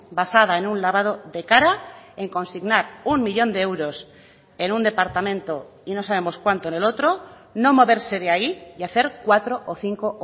basada en un lavado de cara en consignar uno millón de euros en un departamento y no sabemos cuánto en el otro no moverse de ahí y hacer cuatro o cinco